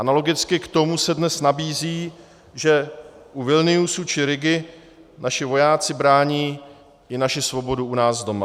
Analogicky k tomu se dnes nabízí, že u Vilniusu či Rigy naši vojáci brání i naši svobodu u nás doma.